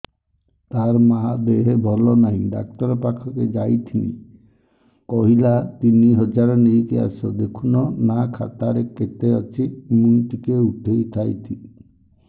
ତାର ମାର ଦେହେ ଭଲ ନାଇଁ ଡାକ୍ତର ପଖକେ ଯାଈଥିନି କହିଲା ତିନ ହଜାର ନେଇକି ଆସ ଦେଖୁନ ନା ଖାତାରେ କେତେ ଅଛି ମୁଇଁ ଟିକେ ଉଠେଇ ଥାଇତି